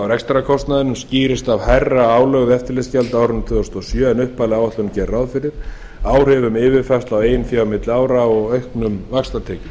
rekstrarkostnaðinum skýrist af hærra álögðu eftirlitsgjaldi á árinu tvö þúsund og sjö en upphafleg áætlun gerði ráð fyrir áhrifum yfirfærslu á eigin fé milli ára og auknum vaxtatekjum